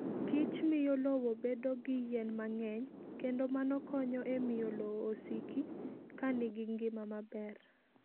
Kich miyo lowo bedo gi yien mang'eny, kendo mano konyo e miyo lowo osiki ka nigi ngima maber.